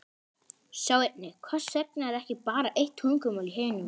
Sjá einnig: Hvers vegna er ekki bara eitt tungumál í heiminum?